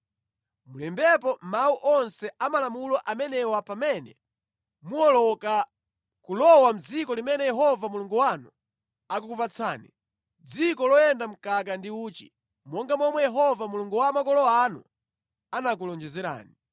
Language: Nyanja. Mulembepo mawu onse a malamulo amenewa pamene muwoloka kulowa mʼdziko limene Yehova Mulungu wanu akukupatsani, dziko loyenda mkaka ndi uchi, monga momwe Yehova Mulungu wa makolo anu anakulonjezerani.